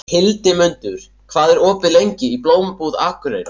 Hildimundur, hvað er opið lengi í Blómabúð Akureyrar?